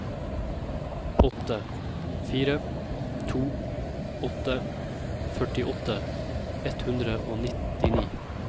åtte fire to åtte førtiåtte ett hundre og nittini